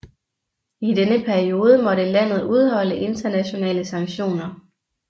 I denne periode måtte landet udholde internationale sanktioner